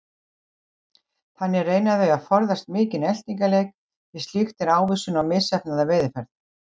Þannig reyna þau að forðast mikinn eltingaleik því slíkt er ávísun á misheppnaða veiðiferð.